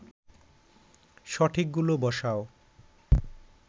সঠিকগুলো বসাও